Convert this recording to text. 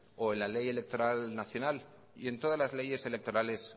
o en la ley electoral nacional y en todas las leyes electorales